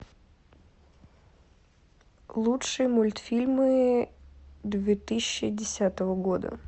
лучшие мультфильмы две тысячи десятого года